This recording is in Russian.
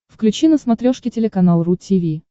включи на смотрешке телеканал ру ти ви